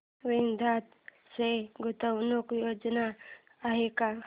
वेदांत च्या गुंतवणूक योजना आहेत का